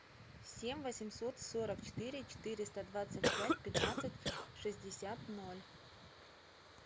семь восемьсот сорок четыре четыреста двадцать пять пятнадцать шестьдесят ноль